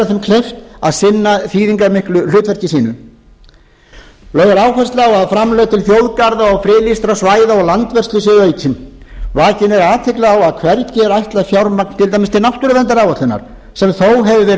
þeim kleift að sinna þýðingarmiklu hlutverki sínu lögð er áhersla á að framlög til þjóðgarða og friðlýstra svæða og landvörslu séu aukin vakin er athygli á að hvergi er ætlað fjármagn til dæmis til náttúruverndaráætlunar sem þó hefur verið